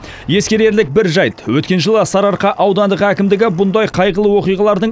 ескерерлік бір жайт өткен жылы сарыарқа аудандық әкімдігі бұндай қайғылы оқиғалардың